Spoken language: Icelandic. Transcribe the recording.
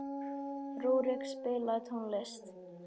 Rúrik, spilaðu tónlist.